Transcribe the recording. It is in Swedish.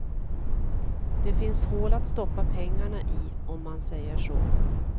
Det finns hål att stoppa pengarna i, om man säger så.